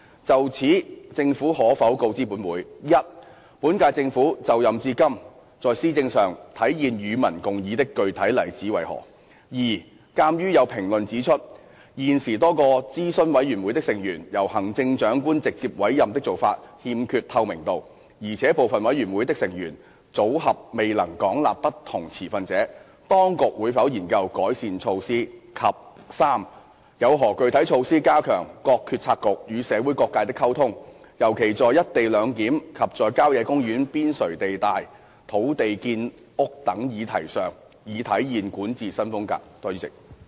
就此，政府可否告知本會：一本屆政府就任至今在施政上體現"與民共議"的具體例子為何；二鑒於有評論指出，現時多個諮詢委員會的成員由行政長官直接委任的做法欠缺透明度，而且部分委員會的成員組合未能廣納不同持份者，當局會否研究改善措施；及三有何具體措施加強各決策局與社會各界的溝通，尤其在一地兩檢及在郊野公園邊陲地帶土地建屋等議題上，以體現管治新風格？